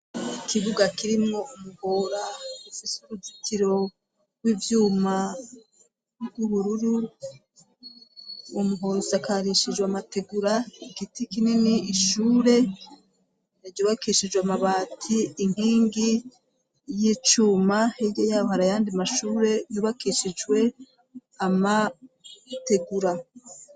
Ikibuga kirimwo umuhora ufise uruzitiro w'ivyuma bw'ubururi umuhora usakarishijwe amategura igiti kinini ishure ryubakishijwe amabati, inkingi y'icuma hirya yaho hari ayandi mashure yubakishijwe amategura.